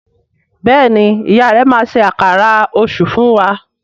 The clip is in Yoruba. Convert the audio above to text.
Béèni ìyá rẹ má ṣe Àkàrà Òṣú fún wá.